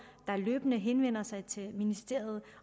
der løbende henvender sig til ministeriet